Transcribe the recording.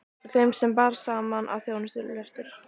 Þeim bar saman um, að þjóðarlöstur